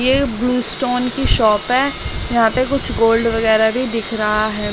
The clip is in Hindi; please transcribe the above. ये ब्लू स्टोन की शॉप है यहां पे कुछ गोल्ड वगैरह भी दिख रहा है।